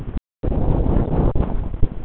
Og losaði mig ósjálfrátt frá honum.